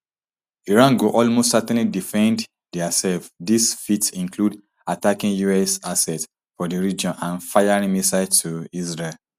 iran go almost certainly defend diaself dis fit include attacking us assets for di region and firing missiles to israel